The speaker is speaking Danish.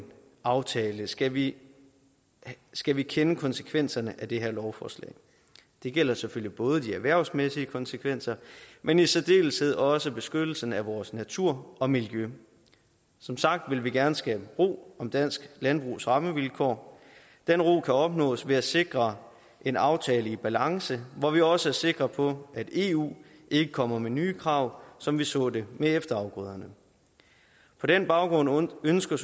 aftale skal vi skal vi kende konsekvenserne af det her lovforslag det gælder selvfølgelig både de erhvervsmæssige konsekvenser men i særdeleshed også beskyttelsen af vores natur og miljø som sagt vil vi gerne skabe ro om dansk landbrugs rammevilkår den ro kan opnås ved at sikre en aftale i balance hvor vi også er sikre på at eu ikke kommer med nye krav som vi så det med efterafgrøderne på den baggrund ønsker